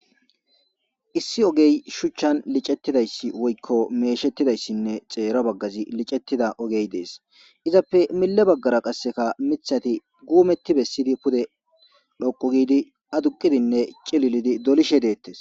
issi ogey shuchchan licettidayssi woykko meeshettidayssinne xeero baggazi licettida ogey dees izappe mille baggara qasseka mithati guumetti bessidi pude loqu giidi aduqidinne cililidi dolishe deettes